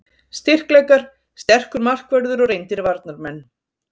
Styrkleikar: Sterkur markvörður og reyndir varnarmenn.